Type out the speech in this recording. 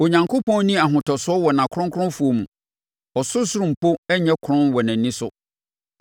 Onyankopɔn nni ahotosoɔ wɔ nʼakronkronfoɔ mu. Ɔsorosoro mpo nnyɛ kronn wɔ nʼani so,